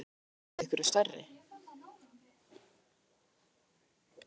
Má búast við einhverjum stærri?